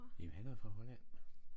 Jamen han er fra Holland